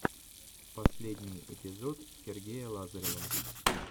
последний эпизод сергея лазарева